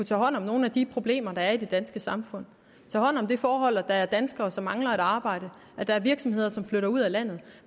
tage hånd om nogle af de problemer der er i det danske samfund tage hånd om det forhold at der er danskere som mangler et arbejde at der er virksomheder der flytter ud af landet